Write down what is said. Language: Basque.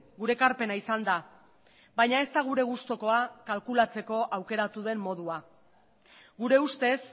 gure ekarpena izan da baina ez da gure gustukoa kalkulatzeko aukeratu den modua gure ustez